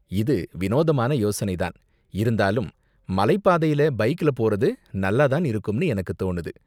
இது வினோதமான யோசனை தான், இருந்தாலும் மலைப் பாதையில பைக்ல போறது நல்லா தான் இருக்கும்னு எனக்கும் தோணுது.